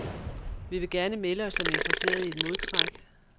Vi vil gerne melde os som interesserede i et modtræk.